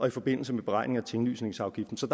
i forbindelse med beregning af tinglysningsafgiften så